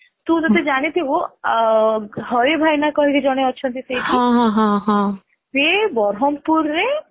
ତୁ ଯଦି ଜାଣିଥିଲୁ ହଋ ଭାଇନା କହିକି ଜଣେ ଅଛନ୍ତି ସେଇଠି ସେ ବରମପୁରରେ